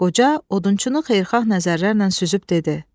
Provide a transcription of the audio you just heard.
Qoca odunçunu xeyirxah nəzərlərlə süzüb dedi: